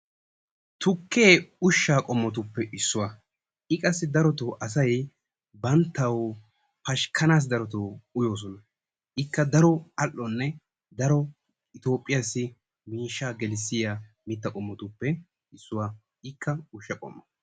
Tukke ushshaa qommotuppe issuwa, I qassi darottoo asay banttawu pashkkanassi darottoo uyyoossona, ikka daro al''one daro Itoophiyassi miishshaa gelissiyaa mittaa qommotuppe issuwa, ikka ushsha qommo.